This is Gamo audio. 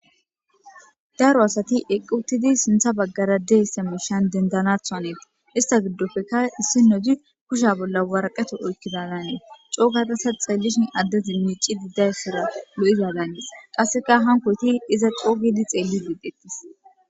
Daro asati eqquutidi sintha baggara deeisse mushan dendanatha aneti ista giddofeka issi noti kusha bolla waraqato oykkida ganees coogatasa xeellishi addezi miici diddayssora lo'iza gaannees qasseka hankoyti iza coogidi xeelli didettis.